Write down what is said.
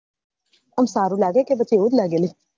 આમ સારું લાગે કે પછી એવું જ લાગે લી